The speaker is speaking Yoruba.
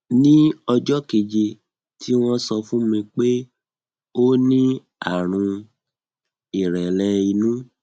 ní ọjọ keje tí wọn sọ fún mi pé ó ní àrùn ìrẹlẹ inú